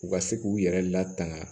U ka se k'u yɛrɛ latanga